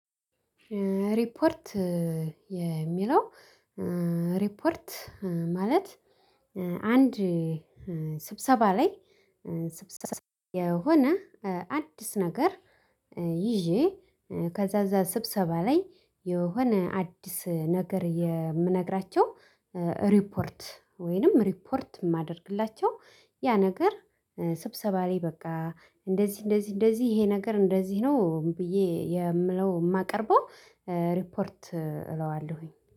ሪፖርት የሚለው ሪፖርት ማለት አንድ ስብሰባ ላይ ስብሰባ የሆነ አዲስ ነገር ይዤ ከዛ እዛ ስብሰባ ላይ የሆነ አዲስ ነገር የምነግራቸው ሪፖርት ወይንም ሪፖርት የማደርግላቸው ያ ነገር ስብሰባ ላይ በቃ እንደዚህ እንደዚህ እንደዚህ ይሄ ነገር እንደዚህ ነው ብዬ የምለው የማቀርበው ሪፖርት እለዋለሁኝ።